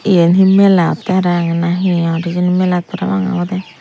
yen hi mela otte parahang na hi or hijeni melat para pang obode.